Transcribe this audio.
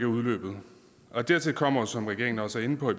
udløbet dertil kommer som regeringen også er inde på